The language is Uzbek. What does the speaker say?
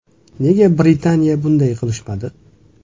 Nega “Britaniya” bunday qilishmadi?